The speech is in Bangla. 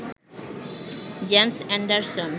James Anderson